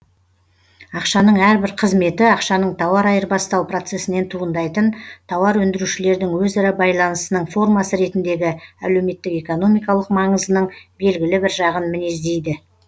ақшаның әрбір қызметі ақшаның тауар айырбастау процесінен туындайтын тауар өндірушілердің өзара байланысының формасы ретіндегі әлеуметтік экономикалық маңызының белгілі бір жағын мінездейді